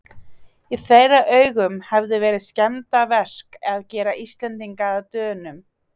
Í þeirra augum hefði verið skemmdarverk að gera Íslendinga að Dönum.